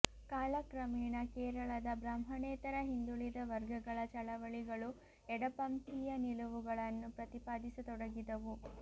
ಕಾಲಕ್ರಮೇಣ ಕೇರಳದ ಬ್ರಾಹ್ಮಣೇತರ ಹಿಂದುಳಿದ ವರ್ಗಗಳ ಚಳವಳಿಗಳು ಎಡಪಂಥೀಯ ನಿಲುವುಗಳನ್ನು ಪ್ರತಿಪಾದಿಸತೊಡಗಿದವು